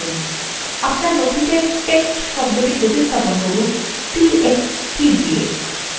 আপনার নথিতে text শব্দটি প্রতিস্থাপন করুন t x t দিয়ে